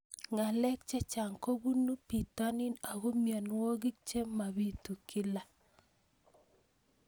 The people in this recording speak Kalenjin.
Ng'alek chechang' kopunu pitonin ako mianwogik che mapitu kila